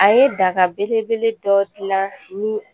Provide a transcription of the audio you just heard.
A ye daga belebele dɔ dilan ni